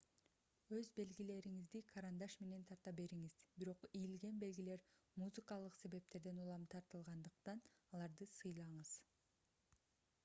өз белгилериңизди карандаш менен тарта бериңиз бирок ийилген белгилер музыкалык себептерден улам тартылгандыктан аларды сыйлаңыз